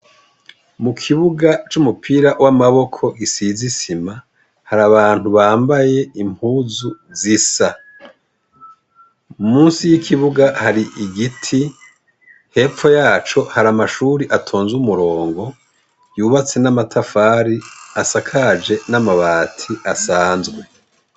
Mu kibuga c'umupira w'amaboko gisize isima hari abantu bambaye impuzu zisa, musi y'ikibuga hari igiti hepfo yaco hari amashuri atonze umurongo yubatse n'amatafari asakaje n'amabati asanzwe.